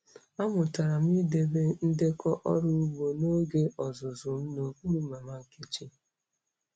Amụtara m idebe ndekọ ọrụ ugbo n'oge ọzụzụ m n'okpuru Mama Nkechi.